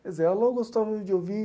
Quer dizer, ela gostava de ouvir